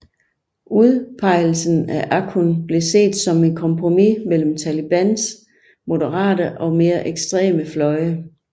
Udpegelsen af Akhund blev set som et kompromis mellem Talibans moderate og mere ekstreme fløje